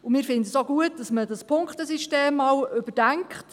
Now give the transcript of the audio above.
Wir finden es auch gut, dass man dieses Punktesystem einmal überdenkt.